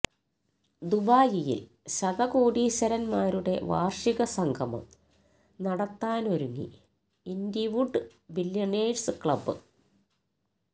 ദുബായിൽ ശതകോടീശ്വരന്മാരുടെ വാർഷിക സംഗമം നടത്താനൊരുങ്ങി ഇൻഡിവുഡ് ബില്ല്യണയേഴ്സ് ക്ലബ്